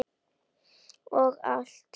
Og allt.